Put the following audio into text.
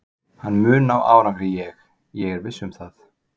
Hann mun ná árangri ég, ég er viss um það.